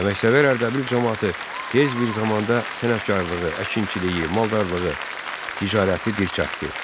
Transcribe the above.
Əməksevər Ərdəbil camaatı tez bir zamanda sənətkarlığı, əkinçiliyi, maldarlığı, ticarəti dirçəltdi.